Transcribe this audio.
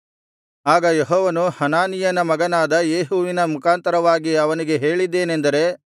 ಆಗ ಯೆಹೋವನು ಹನಾನೀಯನ ಮಗನಾದ ಯೇಹುವಿನ ಮುಖಾಂತರವಾಗಿ ಅವನಿಗೆ ಹೇಳಿದ್ದೇನೆಂದರೆ